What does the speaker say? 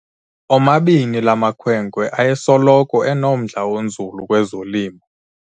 Omabini la makhwenkwe ayesoloko enomdla onzulu kwezolimo.